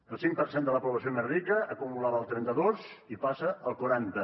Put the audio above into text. el cinc per cent de la població més rica acumulava al trenta dos i passa al quaranta